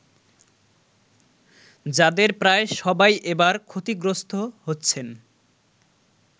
যাদের প্রায় সবাই এবার ক্ষতিগ্রস্ত হচ্ছেন।